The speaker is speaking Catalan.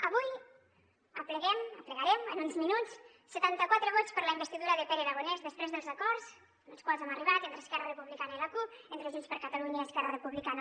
avui apleguem aplegarem en uns minuts setanta quatre vots per a la investidura de pere aragonès després dels acords als quals hem arribat entre esquerra republicana i la cup entre junts per catalunya i esquerra republicana